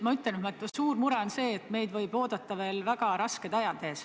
Ma ütlen, et suur mure on see, et meid võivad ees oodata väga rasked ajad.